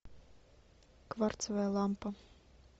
кварцевая лампа